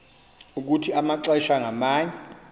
ukuthi amaxesha ngamanye